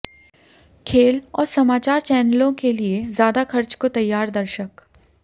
खेल और समाचार चैनलों के लिए ज्यादा खर्च को तैयार दर्शक